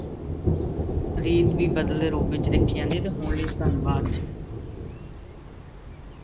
ਰੀਤ ਵੀ ਬਦਲੇ ਰੂਪ ਵਿੱਚ ਦੇਖੀ ਜਾਂਦੀ ਹੈ, ਤੇ ਹੁਣ ਲਈ ਧੰਨਵਾਦ।